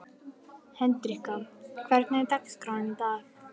Hendrikka, hvernig er dagskráin í dag?